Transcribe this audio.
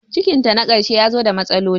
Cikin ta na karshe yazo ta matsaloli